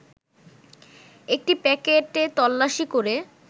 একটি প্যাকেটে তল্লাশি করে